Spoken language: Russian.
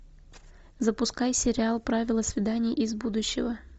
запускай сериал правила свиданий из будущего